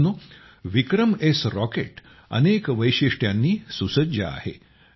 मित्रांनो विक्रमएस रॉकेट अनेक वैशिष्ट्यांनी सुसज्ज आहे